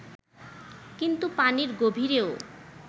কিন্তু পানির গভীরেও